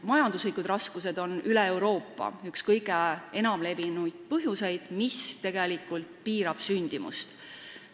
Majanduslikud raskused on üle Euroopa üks kõige enam levinud põhjusi, mis tegelikult sündimust piirab.